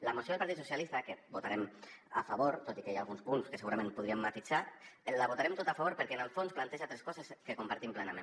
la moció del partit socialistes que hi votarem a favor tot i que hi ha alguns punts que segurament podríem matisar la votarem tota a favor perquè en el fons planteja tres coses que compartim plenament